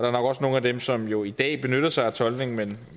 er nok også nogle af dem som jo i dag benytter sig af tolkning men